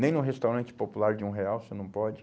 Nem num restaurante popular de um real você não pode.